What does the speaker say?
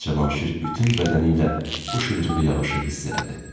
Cavanşir bütün bədənilə bu şıdırğı yağışı hiss elədi.